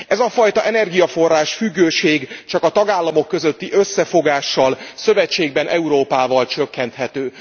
Ez a fajta energiaforrás függőség csak a tagállamok közötti összefogással, szövetségben Európával csökkenthető.